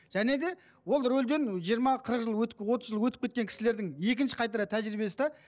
және де ол рөлден жиырма қырық жыл отыз жыл өтіп кеткен кісілердің екінші қайтара тәжірибесі де